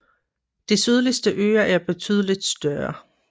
De sydligste øer er betydelig større